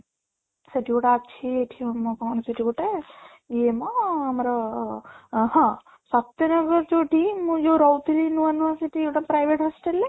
ସେଠି ଗୋଟେ ଅଛି ଏଠି ଆମ କ'ଣ ସେଠି ଗୋଟେ ଇଏ ମ ଆମର ଅଂ ହଁ ସତ୍ୟନଗର ଯୋଉଠି ମୁଁ ଯୋଉ ରହୁଥିଲି ନୂଆ ନୂଆ ସେଠି ଗୋଟେ private hostel ରେ